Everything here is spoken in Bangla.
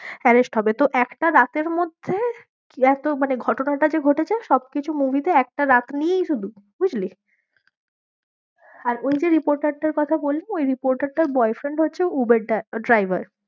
Arrest হবে তো একটা রাতের মধ্যে এতো মানে ঘটনাটা যে ঘটেছে সবকিছু movie রাত নিয়েই শুধু বুঝলি? হম আর ওই যে reporter অটার কথা বললাম ওই reporter টার boyfriend হচ্ছে উবের driver